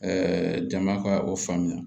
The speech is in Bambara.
jama ka o faamuya